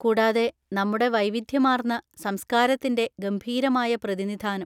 കൂടാതെ, നമ്മുടെ വൈവിധ്യമാർന്ന സംസ്കാരത്തിന്‍റെ ഗംഭീരമായ പ്രതിനിധാനം.